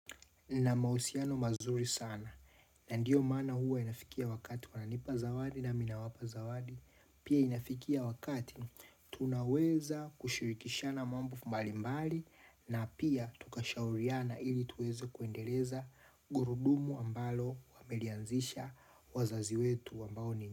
Na mahusiano mazuri sana na ndiyo maana huwa inafikia wakati wananipa zawadi na mimi nawapa zawadi Pia inafikia wakati tunaweza kushirikishana mambo mbali mbali na pia tukashauriana ili tuweze kuendeleza gurudumu ambalo walianzisha wazazi wetu ambao ni.